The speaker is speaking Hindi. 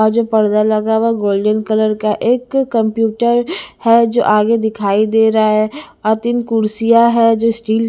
और जो पर्दा लगा हुआ वो गोल्डन कलर का एक कंप्यूटर है जो आगे दिखाई दे रहा है और तीन कुर्सियाँ हैं जो स्टील --